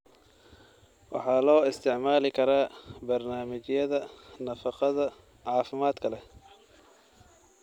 waxaa loo isticmaali karaa barnaamijyada nafaqada caafimaadka leh.